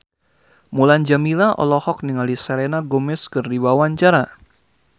Mulan Jameela olohok ningali Selena Gomez keur diwawancara